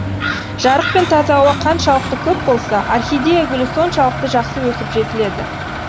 жарық пен таза ауа қаншалықты көп болса орхидея гүлі соншалықты жақсы өсіп жетіледі